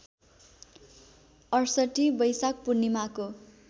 ६८ बैशाख पूर्णिमाको